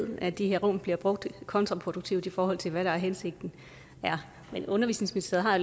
ved at de her rum bliver brugt kontraproduktivt i forhold til hvad der er hensigten men undervisningsministeriet har